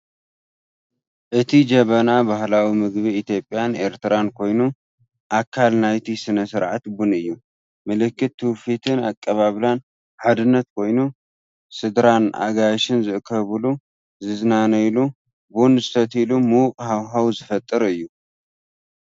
እቲ ጀበና ባህላዊ ምግቢ ኢትዮጵያን ኤርትራን ኮይኑ፡ ኣካል ናይቲ ስነ-ስርዓት ቡን እዩ። ምልክት ትውፊትን ኣቀባብላን ሓድነትን ኮይኑ፡ ስድራን ኣጋይሽን ዝእከብሉ፡ ዝዛናነየሉ፡ ቡን ዝሰትዩሉ ምዉቕ ሃዋህው ዝፈጥር እዩ።